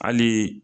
Hali